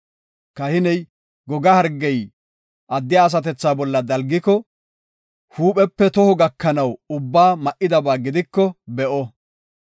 Kahiney goga hargey addiya asatethaa bolla dalgiko, huuphepe toho gakanaw ubbaa ma77idaba gidiko be7o.